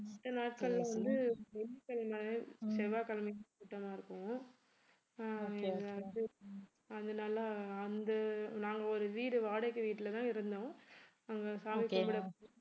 மத்த நாட்கள்ல வந்து வெள்ளிக்கிழமை செவ்வாய்கிழமைக்கு கூட்டமா இருக்கும் ஆஹ் அதனால அந்த நாங்க ஒரு வீடு வாடகை வீட்டுலதான் இருந்தோம் நாங்க சாமி கும்பிட